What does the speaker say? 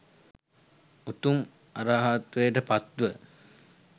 උතුම් අරහත්වයට පත්ව